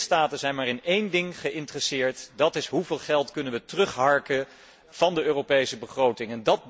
Lidstaten zijn maar in één ding geïnteresseerd en dat is hoeveel geld ze kunnen terugharken van de Europese begroting.